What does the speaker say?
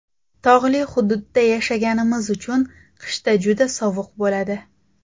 Tog‘li hududda yashaganimiz uchun qishda juda sovuq bo‘ladi.